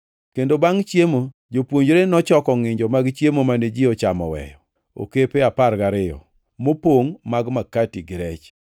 kendo bangʼ chiemo jopuonjre nochoko ngʼinjo mag chiemo mane ji ochamo oweyo okepe apar gariyo mopongʼ mag makati gi rech.